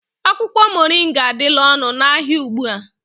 Akwụkwọ moringa adịla ọnụ n'ahịa ugbu a